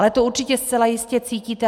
Ale to určitě zcela jistě cítíte.